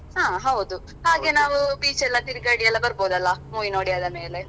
ಹಾ ಹೌದು ಹಾಗೆ ನಾವು beach ಎಲ್ಲ ತಿರ್ಗಾಡಿ ಎಲ್ಲ ಬರ್ಬೋದಲ್ಲ movie ನೋಡಿ ಆದಮೇಲೆ?